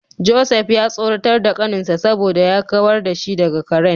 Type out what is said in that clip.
Joseph ya tsoratar da kaninsa saboda ya kawar da shi daga karen.